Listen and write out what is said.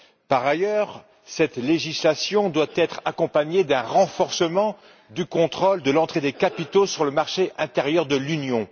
Par ailleurs, cette législation doit être accompagnée d'un renforcement du contrôle de l'entrée des capitaux sur le marché intérieur de l'Union.